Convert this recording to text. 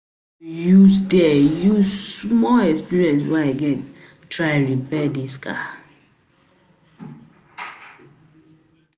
use di use small experience wey I get try repair dis car